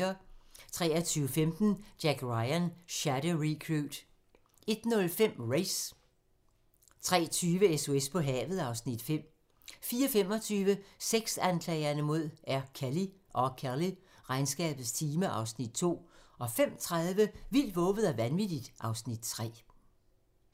23:15: Jack Ryan: Shadow Recruit 01:05: Race 03:20: SOS på havet (Afs. 5) 04:25: Sexanklagerne mod R. Kelly: Regnskabets time (Afs. 2) 05:30: Vildt, vovet og vanvittigt (Afs. 3)